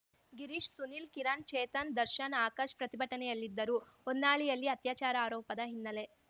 ಗಿರೀಶ್‌ ಸುನಿಲ್‌ ಕಿರಣ್‌ ಚೇತನ್‌ ದರ್ಶನ್‌ ಆಕಾಶ್‌ ಪ್ರತಿಭಟನೆಯಲ್ಲಿದ್ದರು ಹೊನ್ನಾಳಿಯಲ್ಲಿ ಅತ್ಯಾಚಾರ ಆರೋಪದ ಹಿನ್ನಲೆ